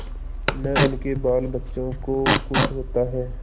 न उनके बालबच्चों ही को कुछ होता है